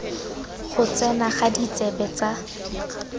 go tsena ga ditsebe tsa